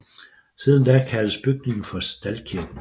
Siden da kaldes bygningen for Staldkirken